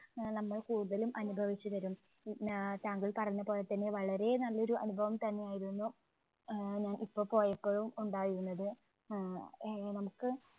ആഹ് നമ്മൾ കൂടുതലും അനുഭവിച്ചവരും, പിന്നെ താങ്കൾ പറഞ്ഞപോലെ തന്നെ വളരെ നല്ല ഒരു അനുഭവം തന്നെ ആയിരുന്നു. ആഹ് നമുക്കിപ്പോൾ പോയപ്പോഴും ഉണ്ടായിരുന്നത്. ആഹ് ഏ നമുക്ക്